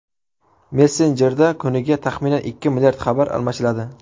Messenjerda kuniga taxminan ikki milliard xabar almashiladi.